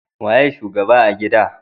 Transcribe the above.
Waye shugaba a gida